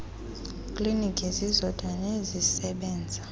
kliniki zizodwa nezisebenza